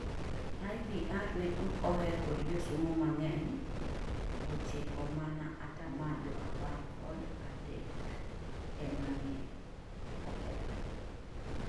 IVR ne ok oheri kod josomo mang'eny 9mana atamalo apar kod adekema ne ohere)